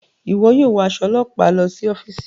Iwọ yóò wọ aṣọ ọlọpa lọ si ọfiisi